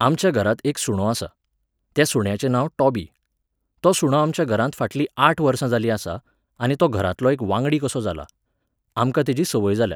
आमच्या घरांत एक सुणो आसा. त्या सुण्याचें नांव टॉबी. तो सुणो आमच्या घरांत फाटलीं आठ वर्सां जालीं आसा, आनी तो घरांतलो एक वांगडी कसो जाला. आमकां तेची सवंय जाल्या.